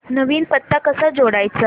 नवीन पत्ता कसा जोडायचा